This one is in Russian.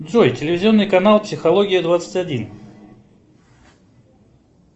джой телевизионный канал психология двадцать один